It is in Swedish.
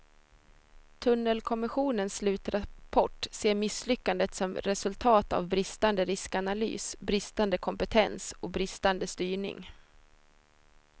Tunnelkommissionens slutrapport ser misslyckandet som resultat av bristande riskanalys, bristande kompetens och bristande styrning.